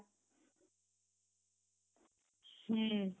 ହୁଁ